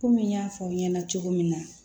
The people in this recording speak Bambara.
Komi n y'a fɔ aw ɲɛna cogo min na